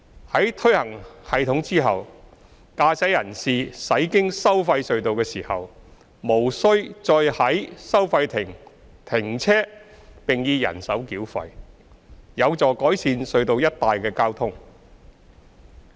在推行系統後，駕駛人士駛經收費隧道時無須再在收費亭停車並以人手繳費，有助改善隧道一帶的交通。